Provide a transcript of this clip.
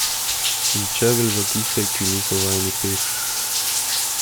In čevelj za tiste, ki niso vajeni pet.